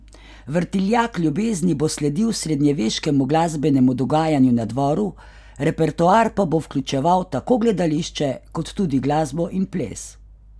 Vrtiljak ljubezni bo sledil srednjeveškemu glasbenemu dogajanju na dvoru, repertoar pa bo vključeval tako gledališče, kot tudi glasbo in ples.